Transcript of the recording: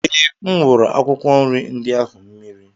Ee, M wuru akwụkwọ nri ndị ahụ mmiri.